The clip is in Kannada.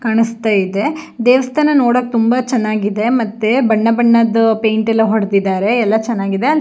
ಕಾಣಿಸ್ತಾ ಇದೆ ದೇವಸ್ಥಾನ ನೋಡೋಕ್ ತುಂಬಾ ಚೆನ್ನಾಗಿದೆ ಮತ್ತೆ ಬಣ್ಣ ಬಣ್ಣದ್ದು ಪೈಂಟ್ ಎಲ್ಲ ಹೊಡೆದಿದರೆ ಎಲ್ಲ ಚೆನ್ನಾಗಿದೆ-